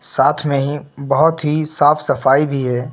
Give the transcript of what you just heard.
साथ में ही बहुत ही साफ सफाई भी है।